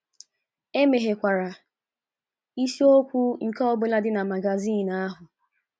Emeghekwara isiokwu nke ọ bụla dị na magazin ahụ.